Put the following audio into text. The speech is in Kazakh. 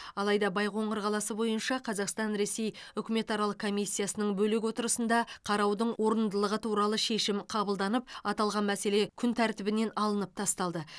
алайда байқоңыр қаласы бойынша қазақстан ресей үкіметаралық комиссиясының бөлек отырысында қараудың орындылығы туралы шешім қабылданып аталған мәселе күн тәртібінен алынып тасталды